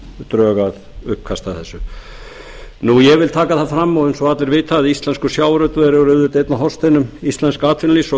drög að uppkasti að þessu ég vil taka það fram að eins og allir vita er íslenskur sjávarútvegur auðvitað einn af hornsteinum íslensks atvinnulífs og